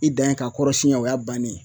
I dan ye k'a kɔrɔ siɲɛ o y'a bannen ye